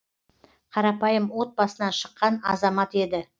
қарапайым отбасынан шыққан азамат еді